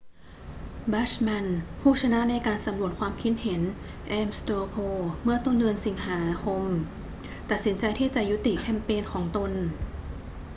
bachmann ผู้ชนะในการสำรวจความคิดเห็น ames straw poll เมื่อเดือนสิงหาคมตัดสินใจที่จะยุติแคมเปญของตน